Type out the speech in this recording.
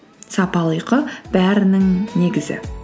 сапалы ұйқы бәрінің негізі